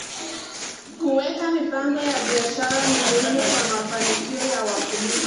Kuweka mipango ya biashara ni muhimu kwa mafanikio ya wakulima.